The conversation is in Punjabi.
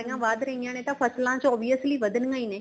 ਵੱਧ ਰਹੀਆਂ ਨੇ ਫ਼ਸਲਾ ਚ obviously ਵਧਣੀਆਂ ਹੀ ਨੇ